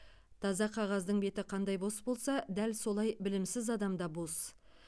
таза қағаздың беті қандай бос болса дәл солай білімсіз адам да бос